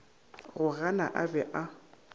go gana a be a